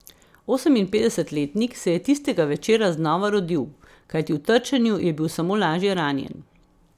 Oseminpetdesetletnik se je tistega večera znova rodil, kajti v trčenju je bil samo lažje ranjen.